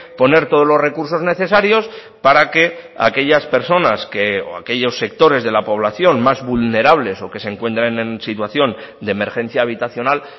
poner todos los recursos necesarios para que aquellas personas o aquellos sectores de la población más vulnerables o que se encuentran en situación de emergencia habitacional